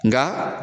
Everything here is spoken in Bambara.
Nka